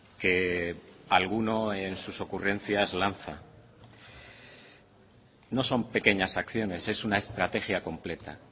que alguno en sus ocurrencias lanza no son pequeñas acciones es una estrategia completa